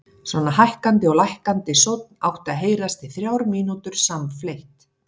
Svona hækkandi og lækkandi sónn átti að heyrast í þrjár mínútur samfleytt.